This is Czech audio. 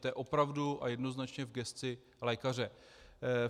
To je opravdu a jednoznačně v gesci lékaře.